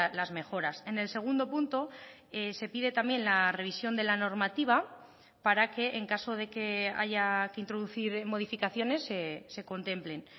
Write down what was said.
las mejoras en el segundo punto se pide también la revisión de la normativa para que en caso de que haya que introducir modificaciones se contemplen